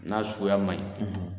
N'a suguya man ɲi